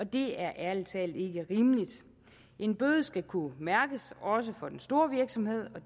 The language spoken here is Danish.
det er ærlig talt ikke rimeligt en bøde skal kunne mærkes også for den store virksomhed og